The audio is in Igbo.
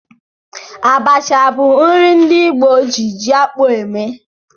Abacha bụ nri ndị Igbo ji ji-akpụ eme.